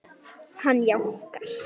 Hann jánkar.